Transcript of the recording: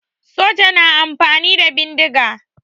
Soja na amfani da bindiga